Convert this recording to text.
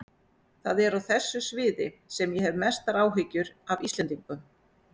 Það er á þessu sviði sem ég hef mestar áhyggjur af Íslendingum.